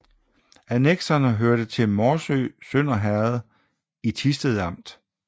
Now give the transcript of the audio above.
Annekserne hørte til Morsø Sønder Herred i Thisted Amt